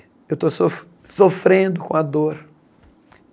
Eu estou sof sofrendo com a dor.